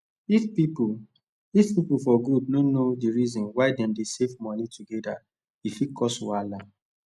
if pipu if pipu for group no know d reason why dem dey safe moni togeda e fit cause wahala